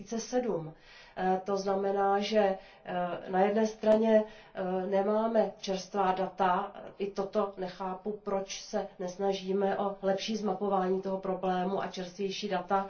2007. To znamená, že na jedné straně nemáme čerstvá data, i toto nechápu, proč se nesnažíme o lepší zmapování toho problému a čerstvější data.